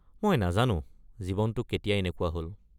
মই নাজানো জীৱনটো কেতিয়া এনেকুৱা হ'ল।